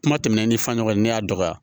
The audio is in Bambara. Kuma tɛmɛnen ni fa ɲɔgɔn ye ne y'a dɔgɔya